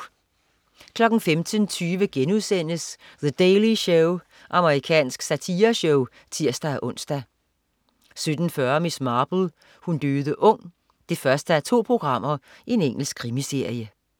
15.20 The Daily Show*. Amerikansk satireshow (tirs-ons) 17.40 Miss Marple: Hun døde ung 1:2. Engelsk krimiserie